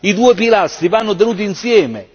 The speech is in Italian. I due pilastri vanno tenuti insieme.